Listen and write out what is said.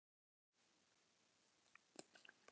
Jón Júlíus Karlsson: Hvernig líður þér núna?